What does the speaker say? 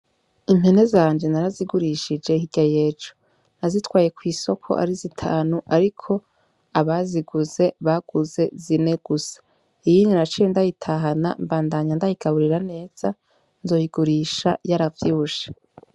Impene zanje narazigurishije hirya y'ejo. Nazitwaye kw'isoko ari zitanu ariko abaziguze baguze zine gusa. Iyindi naciye ndayitahana mbandanya ndayigaburira neza nzoyigurisha yaravyibushe.